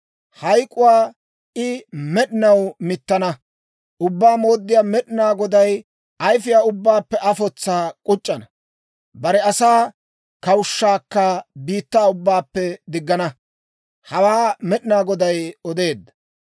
Hayk'k'uwaa I med'inaw mittana; Ubbaa Mooddiyaa Med'inaa Goday ayfiyaa ubbaappe afotsaa k'uc'c'ana; bare asaa kawushshaakka biittaa ubbaappe diggana. Hawaa Med'inaa Goday odeedda.